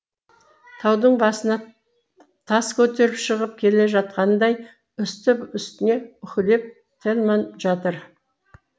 таудың басына тас көтеріп шығып келе жатқандай үсті үстіне уһілеп тельман жатыр